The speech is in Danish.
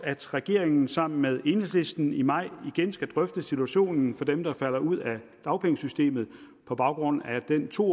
regeringen sammen med enhedslisten i maj igen skal drøfte situationen for dem der falder ud af dagpengesystemet på baggrund af den to